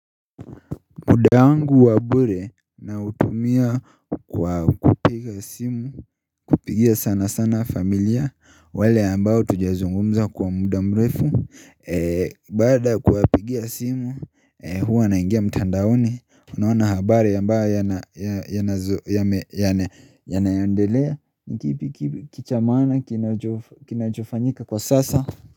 Muda wangu wa bure nautumia kwa kupiga simu, kupigia sana sana familia, wale ambao hatuja zungumza kwa muda mrefu Baada kuwapigia simu, huwa naingia mtandaoni, unaona habari ambayo yana yanayondelea kipi Kichamana, kinachofanyika kwa sasa.